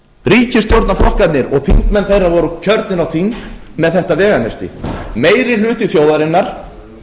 ríkisstjórnarflokkarnir og þingmenn þeirra voru kjörnir á þing með þetta veganesti meiri hluti þjóðarinnar